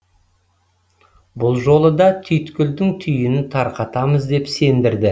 бұл жолы да түйткілдің түйінін тарқатамыз деп сендірді